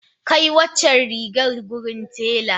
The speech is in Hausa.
Kai waccan rigar wurin tela.